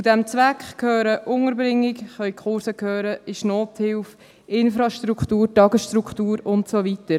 Zu diesem Zweck gehören Unterbringung, Kurse, Nothilfe, Infrastruktur, Tagesstruktur und so weiter.